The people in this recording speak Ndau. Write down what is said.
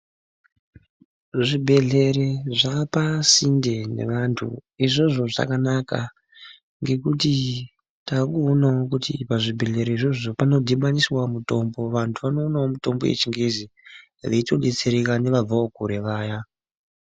Zvibhedhlere zvaa pasinde nevantu. Izvozvo zvakanaka ngekuti takuonawo kuti pazvibhedhlere izvozvo panodhibaniswa mutombo, vantu vanoonawo mutombo yeChiNgezi, veitodetsereka nevabvawo kure vaya.